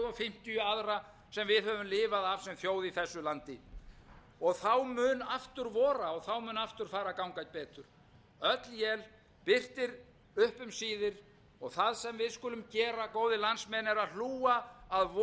við höfum lifað af sem þjóð í þessu landi þá mun aftur vora og þá mun aftur fara að ganga betur öll él birtir upp um síðir það sem við skulum gera góðir landsmenn er að hlúa að voninni